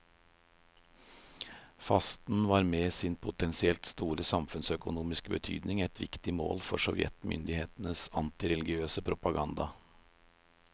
Fasten var med sin potensielt store samfunnsøkonomiske betydning et viktig mål for sovjetmyndighetenes antireligionspropaganda.